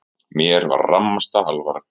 Mér var rammasta alvara.